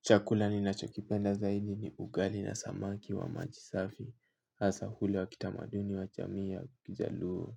Chakula ni nacho kipenda zaidi ni ugali na samaki wa majisafi, hasa hule wa kitamaduni wa jamii ya kijaluo